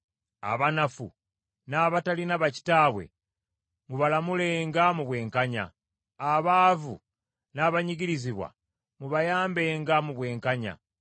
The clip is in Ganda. Abanafu n’abatalina bakitaabwe mubalamulenga mu bwenkanya; abaavu n’abanyigirizibwa mubayambenga mu bwenkanya.